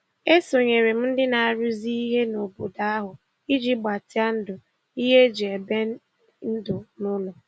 E sonyeere m ndị na-arụzi ihe n'obodo ahụ iji gbatịa ndụ ihe e ji ebi ndụ n'ụlọ.